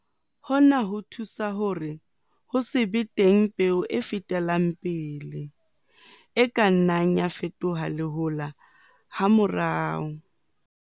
Hona ho thusa hore ho se be teng peo e fetelang pele, e ka nnang ya fetoha lehola hamorao.